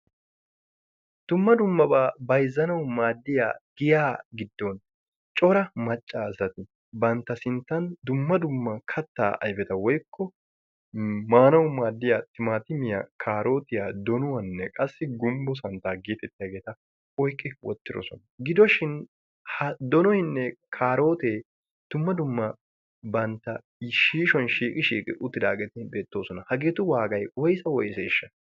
dumma dummaba bayzzanaw maaddiya giya giddon cora maccaasati bantta dumm adumma katta ayfeta wooykko maanawu maaddiya timatimmiya, karootiya, donnuwanne gumbbo santta getettiyageeta oyqqi wottidoosona. gidoshin ha donnoynne kaaroote dumma dumma bantta shiishshuwan shiiqqi uttidaageeti beettoosona. hageetu waagay woyssa woysseashsha?